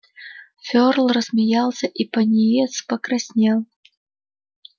ферл рассмеялся и пониетс покраснел